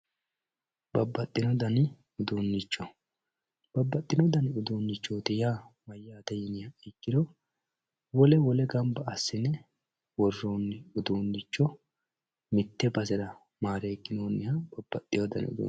Babaxino dani uduunicho babaxino dani uduunicho yaa mayate yiniha ikiro wole wole ganba asine woroni uduunicho mitte basera marekinoniha babaxewo dani udunicho.